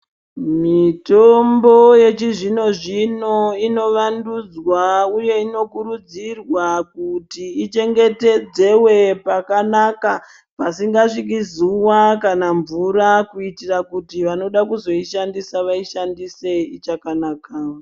Mitombo yechi zvino zvino ino vandudzwa uye ino kurudzirwa kuti ichengetedzewe pakanaka pasinga sviki zuva kana mvura kuitira kuti vanoda kuzoi shandisa vai shandise ichakanaka.